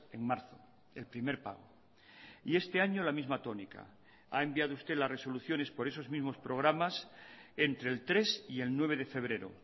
en marzo el primer pago y este año la misma tónica ha enviado usted las resoluciones por esos mismos programas entre el tres y el nueve de febrero